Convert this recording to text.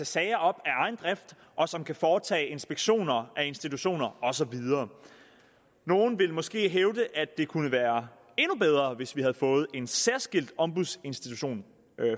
sager op af egen drift og som kan foretage inspektioner af institutioner og så videre nogle vil måske hævde at det kunne være endnu bedre hvis vi havde fået en særskilt ombudsinstitution